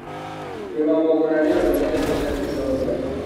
Kũrima mũgũnda nĩũndu nyendete rĩria kwĩna rugarĩ.